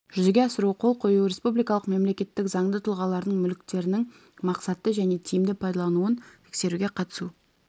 жүзеге асыру қол қою республикалық мемлекеттік заңды тұлғалардың мүліктерінің мақсатты және тиімді пайдалануын тексеруге қатысу